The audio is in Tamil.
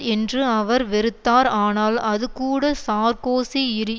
என்று அவர் வெறுத்தார் ஆனால் அது கூட சார்கோசியிரி